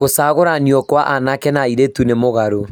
Gũshagũranio kwa aanake na airĩtu nĩ mũgarũ